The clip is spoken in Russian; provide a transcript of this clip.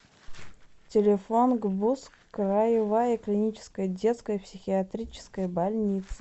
телефон гбуз краевая клиническая детская психиатрическая больница